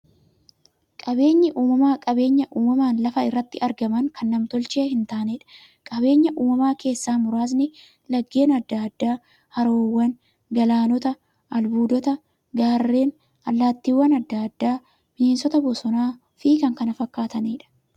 Qaabeenyi uumamaa qabeenya uumamaan lafa irratti argamanii, kan nam-tolchee hintaaneedha. Qabeenya uumamaa keessaa muraasni; laggeen adda addaa, haroowwan, galaanota, albuudota, gaarreen, allattiiwwan adda addaa, bineensota bosonaa, bosonafi kanneen kana fakkataniidha.